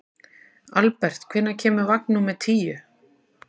Albert, hvenær kemur vagn númer tíu?